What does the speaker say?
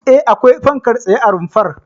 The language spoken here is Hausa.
E, akwai fankar tsaye a rumfar.